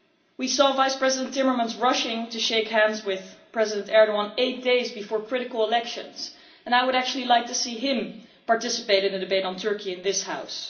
We saw Vice President Timmermans rushing to shake hands with President Erdoğan eight days before critical elections, and I would actually like to see him participate in a debate on Turkey in this House.